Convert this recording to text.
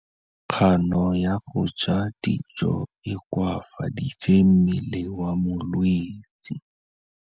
Kganô ya go ja dijo e koafaditse mmele wa molwetse.